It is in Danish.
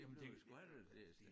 Det var jo sgu aldrig det